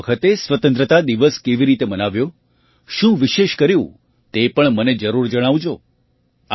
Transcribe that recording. તમે આ વખતે સ્વતંત્રતા દિવસ કેવી રીતે મનાવ્યો શું વિશેષ કર્યું તે પણ મને જરૂર જણાવજો